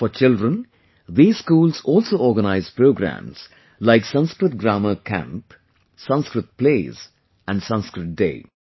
For children, these schools also organize programs like Sanskrit Grammar Camp, Sanskrit Plays and Sanskrit Day